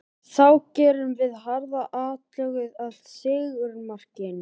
Þá gerðum við harða atlögu að sigurmarkinu.